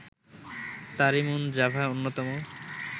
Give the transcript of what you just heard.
তারিমুন Java অন্যতম